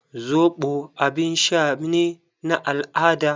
Zoɓo abin sha ne na al-ada.